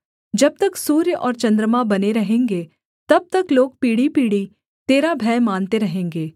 जब तक सूर्य और चन्द्रमा बने रहेंगे तब तक लोग पीढ़ीपीढ़ी तेरा भय मानते रहेंगे